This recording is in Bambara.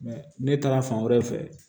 ne taara fan wɛrɛ fɛ